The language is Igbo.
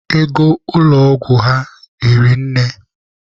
Ego ụlọ ọgwụ ha hiri nne.